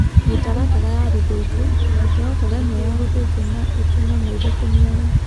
Mĩtaratara ya gũthĩnjwo. Mitaratara ĩmwe ya gũthĩnjwo na ĩtũme maitho kũniara.